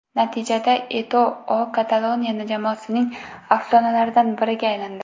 Natijada, Eto‘O Kataloniya jamoasining afsonalaridan biriga aylandi.